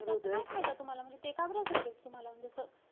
त्याचा काय फायदा तुम्हाला? म्हणजे ते का बरं subject तुम्हाला म्हणजे असं?